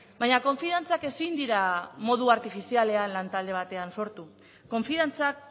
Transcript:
baina konfiantzak ezin dira modu artifizialean lantalde batean sortu konfiantzak